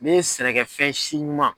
Ne ye sɛnɛkɛ fɛn si ɲuma.